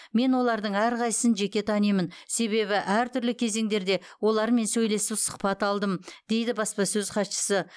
мен олардың әрқайсысын жеке танимын себебі әртүрлі кезеңдерде олармен сөйлесіп сұхбат алдым дейді баспасөз хатшысы